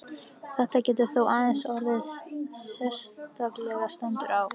Þetta getur þó aðeins orðið ef sérstaklega stendur á.